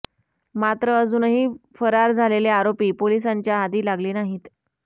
मात्र अजूनही फरार झालेले आरोपी पोलिसांच्या हाती लागले नाहीत